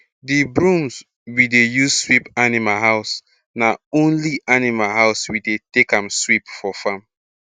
d brooms we de use sweep animal house na only animal house we dey take am sweep for farm